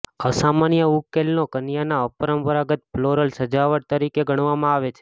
અસામાન્ય ઉકેલને કન્યાના અપરંપરાગત ફ્લોરલ સજાવટ તરીકે ગણવામાં આવે છે